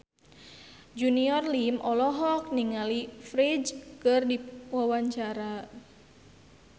Junior Liem olohok ningali Ferdge keur diwawancara